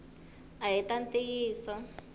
ahi ta ntiyiso